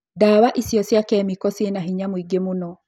Ndawa icio cia kemiko ciĩna hinya mũingĩ mũno